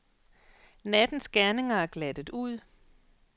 Nattens gerninger er glattet ud.